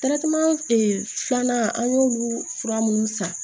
filanan an y'olu fura minnu san